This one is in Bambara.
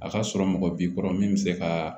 A ka sɔrɔ mɔgɔ b'i kɔrɔ min be se ka